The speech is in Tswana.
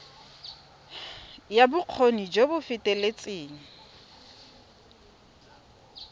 ya bokgoni jo bo feteletseng